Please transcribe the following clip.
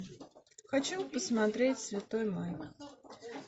хочу посмотреть святой майк